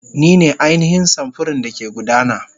Ni ne ainihin samfurin da ke gudana.